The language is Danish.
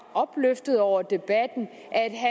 opløftet over debatten